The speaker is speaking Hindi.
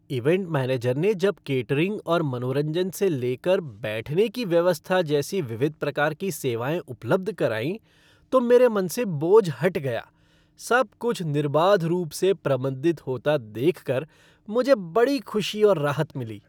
इवेंट मैनेजर ने जब केटरिंग और मनोरंजन से लेकर बैठने की व्यवस्था जैसी विविध प्रकार की सेवाएँ उपलब्ध कराईं तो मेरे मन से बोझ हट गया, सब कुछ निर्बाध रूप से प्रबंधित होता देख कर मुझे बड़ी खुशी और राहत मिली।